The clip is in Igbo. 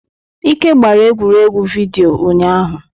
Ike gbara egwuregwu vidiyo ụnyahụ.